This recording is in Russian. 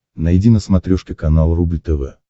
найди на смотрешке канал рубль тв